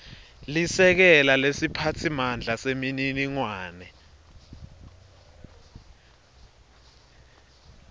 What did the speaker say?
lisekela lesiphatsimandla semininingwane